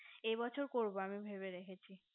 এ বছর করবো আমি ভেবে রেখেছি